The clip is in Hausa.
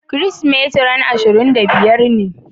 Kirisimeti ran ashirin da biyar ne.